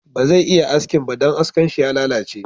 Baze iya askin ba, don askan shi ya lalace